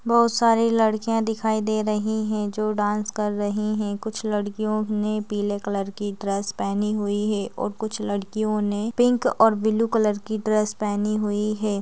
बहुत सारी लड़किया दिखाई दे रही है जो डांस कर रही है कुछ लड़कियों ने पीले कलर की ड्रेस पेहनी हुई है और कुछ लड़कियों ने पिंक और ब्लू कलर की ड्रेस पेहनी हुई है।